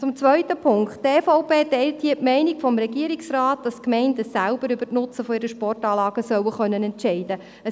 Zum zweiten Punkt: Die EVP teilt hier die Meinung des Regierungsrates, wonach die Gemeinden selber über die Nutzung ihrer Sportanlagen sollen entscheiden können.